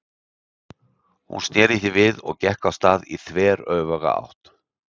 Hún sneri því við og gekk af stað í þveröfuga átt.